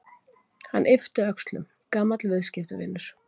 Hann yppti öxlum: Gamall viðskiptavinur.